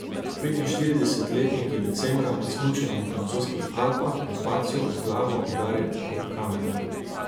Petinštiridesetletnik je decembra med smučanjem v francoskih Alpah ob padcu z glavo udaril ob kamen.